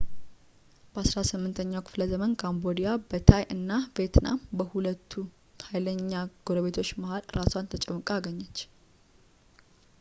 በ18ኛው ክፍለ ዘመን ካምቦዲያ በታይ እና ቬትናም በሁለት ኃይለኛ ጎረቤቶች መካከል አራሷን ተጨምቃ አገኘች